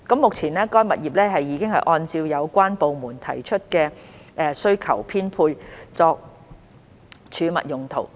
目前，該物業已按照有關部門提出的需求編配作儲物用途。